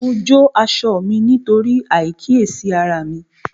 Mo jó aṣọ mí nítorí àìkíyèsára mi